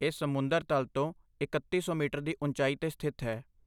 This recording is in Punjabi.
ਇਹ ਸਮੁੰਦਰ ਤਲ ਤੋਂ ਇਕੱਤੀ ਸੌ ਮੀਟਰ ਦੀ ਉਚਾਈ 'ਤੇ ਸਥਿਤ ਹੈ